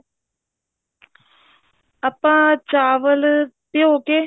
ਆਪਾਂ ਚਾਵਲ ਭਿਓਂ ਕੇ